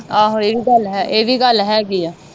ਆਹ ਇਹ ਵੀ ਗੱਲ ਹੈ ਇਹ ਵੀ ਗੱਲ ਹੇਗੀ ਆ